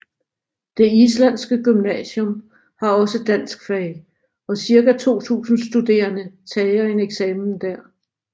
Det islandske gymnasium har også danskfag og cirka 2000 studerende tager en eksamen der